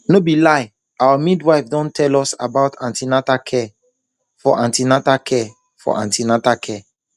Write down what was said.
no be lie our midwife don tell us about an ten atal care for an ten atal care for an ten atal